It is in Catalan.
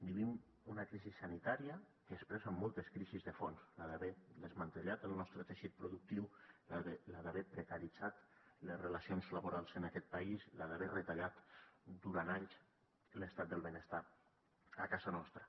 vivim una crisi sanitària que expressa moltes crisis de fons la d’haver desmantellat el nostre teixit productiu la d’haver precaritzat les relacions laborals en aquest país la d’haver retallat durant anys l’estat del benestar a casa nostra